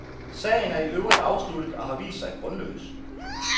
Sagen er i øvrigt afsluttet og har vist sig grundløs.